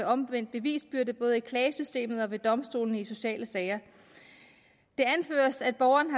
omvendte bevisbyrde både i klagesystemet og ved domstolene i de sociale sager det anføres at borgeren